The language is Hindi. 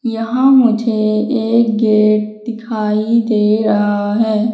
यहां मुझे एक गेट दिखाई दे रहा है।